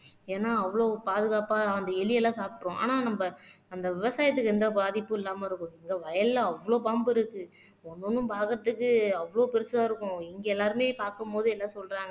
ஏன்னா அவ்வளவு பாதுகாப்பா அந்த எலி எல்லாம் சாப்பிட்டுரும் ஆனா நம்ம அந்த விவசாயத்துக்கு எந்த பாதிப்பும் இல்லாம இருக்கும் இந்த வயல்ல அவ்வளவு பாம்பு இருக்கு ஒண்ணு ஒண்ணும் பாக்குறதுக்கு அவ்வளவு பெருசா இருக்கும் இங்க எல்லாருமே பார்க்கும் போது என்ன சொல்றாங்க